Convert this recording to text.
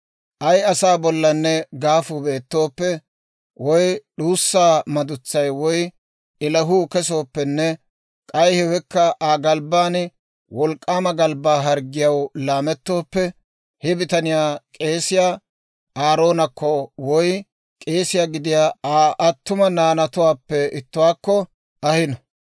«Ay asaa bollanne gaafu beetooppe, woy d'uussa madutsay woy ilahuu kesooppenne k'ay hewekka Aa galbban wolk'k'aama galbbaa harggiyaw laamettooppe, he bitaniyaa k'eesiyaa Aaroonakko woy k'eesiyaa gidiyaa Aa attuma naanatuwaappe ittuwaakko ahino.